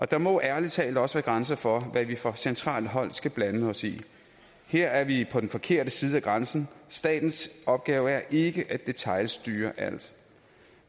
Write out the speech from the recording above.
der må ærlig talt også være grænser for hvad vi fra centralt hold skal blande os i her er vi på den forkerte side af grænsen statens opgave er ikke at detailstyre alt